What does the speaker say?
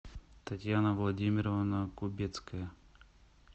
татьяна владимировна кубецкая